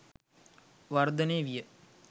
වර්ධනය විය.